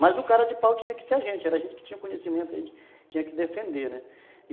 Mas o cara de pau tinha que ser a gente, era a gente que tinha conhecimento, a gente tinha que defender, né?